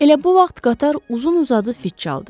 Elə bu vaxt qatar uzun-uzadı fit çaldı.